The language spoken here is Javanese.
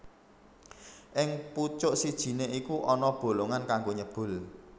Ing pucuk sijiné iku ana bolongan kanggo nyebul